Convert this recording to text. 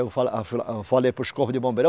Eu fa, eu fa, eu falei para os corpo de bombeiro, ó.